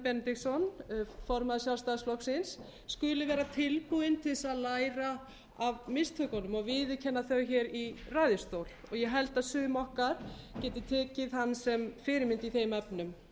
benediktsson formaður sjálfstæðisflokksins skuli vera tilbúinn til þess að læra af mistökunum og viðurkenna þau hér í ræðustól og ég held að sum okkar getum tekið hann sem fyrirmynd í þeim efnum